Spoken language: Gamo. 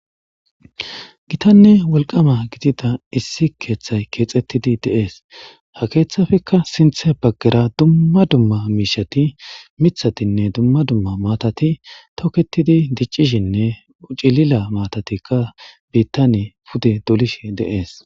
Gitanne wolqama gidida issi kethay Kexetidi de'ese ha kethapekka sinhte bagara Dumma dumma mishati mithatinne Dumma dumma maatati toketidi dicishenne cilila maatatikka bitan pude dolishe de'ese